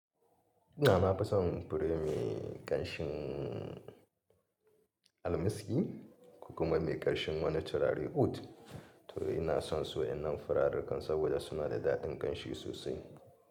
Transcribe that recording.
Ina ma fison fure mai ƙanshin almiski ko kuma mai ƙanshin wani turare oud. To ina son su wa'innan furarukan saboda suna da daɗin ƙanshi sosai.